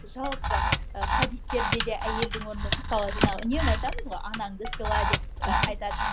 жалпы і хадистерде де әйелдің орны мысалы жаңағы үнемі айтамыз ғой анаңды сыйла деп ы айтады